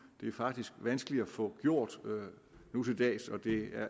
det er faktisk vanskeligt at få gjort nu til dags og det